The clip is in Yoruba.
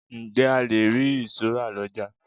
Ǹjẹ́ a le ri ìṣó rà lọjà?